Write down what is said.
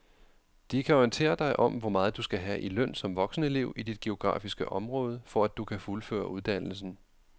De kan orientere dig om hvor meget du skal have i løn som voksenelev i dit geografiske område, for at du kan fuldføre uddannelsen.